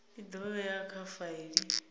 i do vhewa kha faili